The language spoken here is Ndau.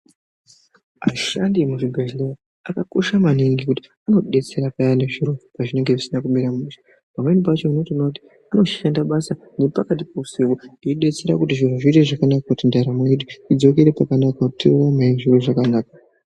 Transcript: Ashandi emuzvibhedhleya akakosha maningi nekuti anodetsera payani zviro pazvinenge zvisina kumira mushe. Pamweni pacho unotoona kuti anoshanda basa nepakati peusiku eibetsera kuti zviro zviite zvakanaka. Kuti ndaramo yedu idzokere pakanaka tionewo zviro zvakanaka.